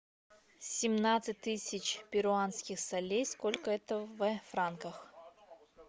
семнадцать тысяч перуанских солей сколько это в франках